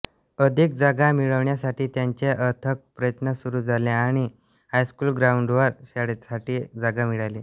अधिक जागा मिळविण्यासाठी त्यांचे अथक प्रयत्न सुरू झाले आणि हायस्कूल ग्राऊंडवर शाळेसाठी जागा मिळाली